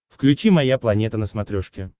включи моя планета на смотрешке